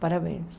Parabéns.